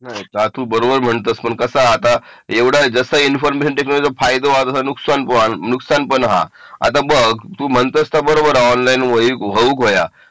बरोबर म्हणतेस पण कसा आता जसं इन्फॉर्मेशन टेक्नॉलॉजी चे फायदे तसं नुकसान पण हा आता बघ तू म्हणता ते बरोबर आहे ऑनलाइन होऊक हो या